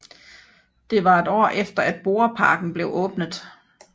Det var et år efter at Borreparken blev åbnet